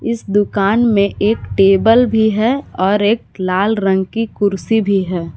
इस दुकान में एक टेबल भी है और एक लाल रंग की कुर्सी भी है।